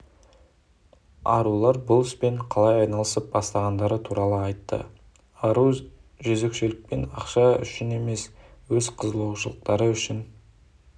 арулар бұл іспен қалай айналысып бастағандары туралы айтты ару жөзекшелікпен ақша үшін емес өз қызығушылықтары үшін